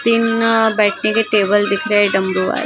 तीन बैठने के टेबल दिख रहे हैं डंबो --